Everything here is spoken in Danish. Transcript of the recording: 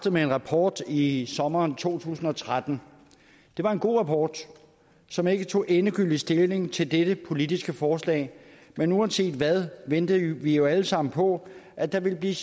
med en rapport i sommeren to tusind og tretten det var en god rapport som ikke tog endegyldig stilling til dette politiske forslag men uanset hvad ventede vi jo alle sammen på at der ville blive